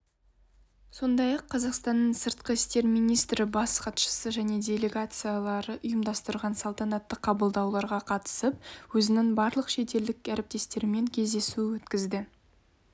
сондай-ақ қазақстанның сыртқы істер министрі бас хатшысы және делегациялары ұйымдастырған салтанатты қабылдауларға қатысып өзінің барлық шетелдік әріптестерімен кездесу өткізді